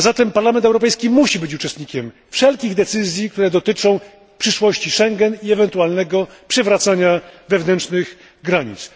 Parlament Europejski musi być uczestnikiem wszelkich decyzji, które dotyczą przyszłości Schengen i ewentualnego przywracania wewnętrznych granic.